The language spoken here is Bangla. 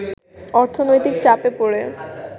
অর্থনৈতিক চাপে পড়ে